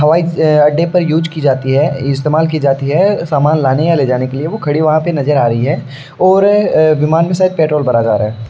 हवाई अड्डे पर यूज की जाती है। इस्तेमाल की जाती है समान लाने या लेजाने के लिए वो खड़ी वहां नजर आ रही है और अ विमान में शायद पेट्रोल भरा जा रहा है।